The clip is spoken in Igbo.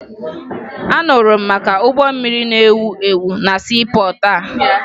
Anụrụ m maka ụgbọ mmiri na-ewu ewu na siipọọtụ a